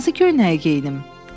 Hansı köynəyi geyinim?